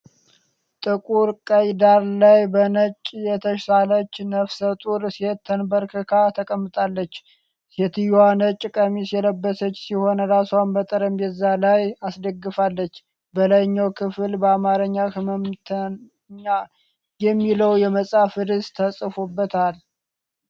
ጥቁር ቀይ ዳራ ላይ በነጭ የተሳለች ነፍሰ ጡር ሴት ተንበርክካ ተቀምጣለች። ሴትየዋ ነጭ ቀሚስ የለበሰች ሲሆን፣ ራስዋን በጠረጴዛ ላይ አስደግፋለች። በላይኛው ክፍል በአማርኛ "ሕመምተና" የሚለው የመጽሐፍ ርዕስ ተጽፎበታል።